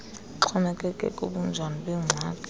lixhomekeke kubunjani bengxaki